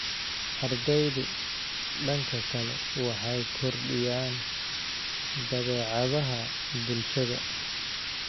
Ardeydu, dhanka kale waxay kordhiyaan dabeecadaha bulshada.